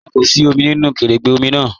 Rárá, kò sí òmì nínu kẹrẹ́gbẹ̀ òmì náà.